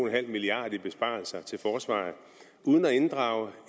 milliard kroner fra besparelser i forsvaret uden at inddrage